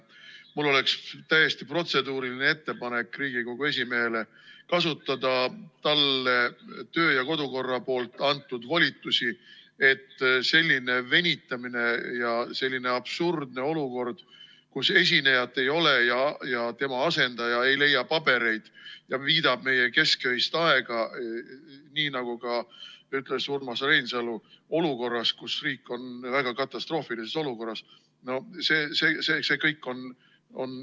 Mul oleks täiesti protseduuriline ettepanek Riigikogu esimehele kasutada talle kodu- ja töökorra seaduses antud volitusi, et selline venitamine ja selline absurdne olukord, kus esinejat ei ole ja tema asendaja ei leia pabereid ja viidab meie kesköist aega, nii nagu ka ütles Urmas Reinsalu, olukorras, kus riik on väga katastroofilises olukorras, see kõik on ...